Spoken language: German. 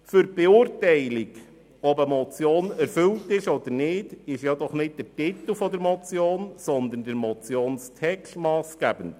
Für die Beurteilung, ob eine Motion erfüllt ist oder nicht, ist nicht der Titel der Motion, sondern deren Text massgebend.